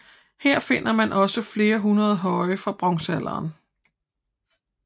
Her finder man også flere hundrede høje fra bronzealderen